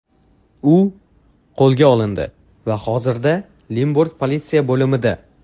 U qo‘lga olindi va hozirda Limburg politsiya bo‘limida.